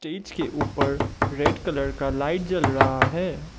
Stage के ऊपर red colour का लाइट जल रहा है।